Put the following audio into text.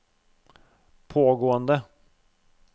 pågående